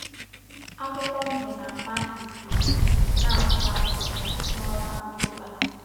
Akwụkwọ ndụ na-ama ifụ́rụ̀ na-acha ọ́cha n’ọnwa Ọktọba.